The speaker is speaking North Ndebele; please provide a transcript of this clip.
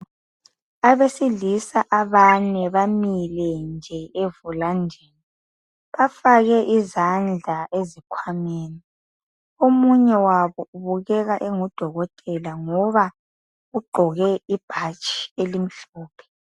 Abesilisa abane bamile nje evulandini, bafake izandla ezikhwameni omunye wabo ubukeka engudokotela ngoba ugqoke ibhatshi elimhlophe.